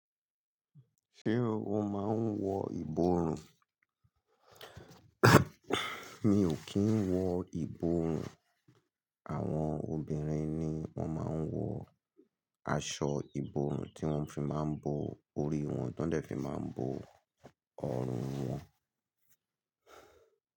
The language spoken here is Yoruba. Ṣé o máa ń wọ ìborùn? Mi ò kí ń wọ ìborùn. Àwọn obìnrin ni wọ́n máa ń wọ aṣọ ìborùn tí wọ́n fi máa ń bo orí wọn, tọ́n dẹ̀ fi máa ń bo ọrùn wọn.